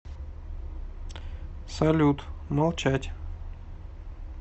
салют молчать